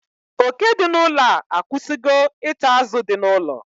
Oke dị n'ụlọ a akwụsịgo ita azụ dị n'ụlọ